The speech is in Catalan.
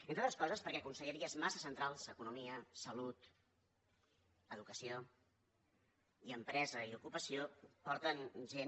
entre altres coses perquè conselleries massa centrals economia salut ensenyament i empresa i ocupació porten gent